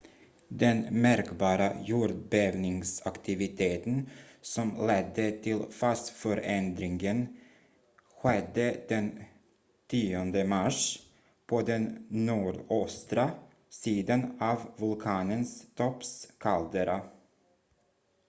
den märkbara jordbävningsaktiviteten som ledde till fasförändringen skedde den 10 mars på den nordöstra sidan av vulkanens topps kaldera